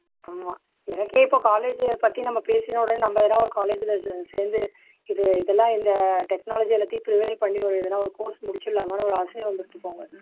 ஆமா எனக்கே இப்போ college அ பத்தி நம்ம பேசின உடனே நம்ம எதா ஒரு college ல ச சேந்து இது இதெல்லாம் இந்த technology எல்லாத்தையும் எதனா ஒரு course முடிச்சுடலாமான்னு ஒரு ஆசை வந்துச்சு போங்கோ